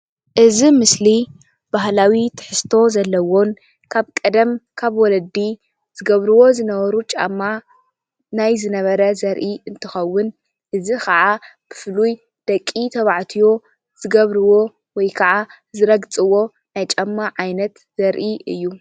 እዚ ምስሊ ባህላዊ ትሕዝቶ ዘለዎን ካብ ቀደም ካብ ወለዲ ዝገብርዎ ዝነበሩ ጫማ ናይ ዝነበረ ዘርኢ እንትከውን እዙይ ከዓ ብፉሉይ ደቂ ተባዕትዮ ዝገብርዎ ወይ ከዓ ዝረግፅዎ ናይ ጫማ ዓይነት ዘርኢ እዩ።